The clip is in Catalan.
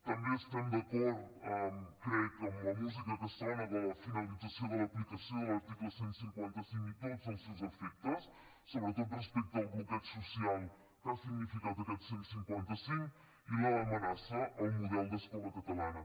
també estem d’acord crec amb la música que sona de la finalització de l’aplicació de l’article cent i cinquanta cinc i tots els seus efectes sobretot respecte al bloqueig social que ha significat aquest cent i cinquanta cinc i l’amenaça al model d’escola catalana